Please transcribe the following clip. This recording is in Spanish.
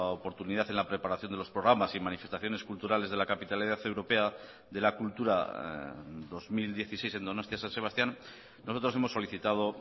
oportunidad en la preparación de los programas y manifestaciones culturales de la capitalidad europea de la cultura dos mil dieciséis en donostia san sebastián nosotros hemos solicitado